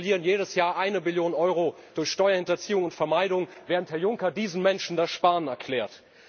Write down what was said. Wir verlieren jedes Jahr eine Billion Euro durch Steuerhinterziehung und vermeidung, während Herr Juncker diesen Menschen das Sparen erklärt.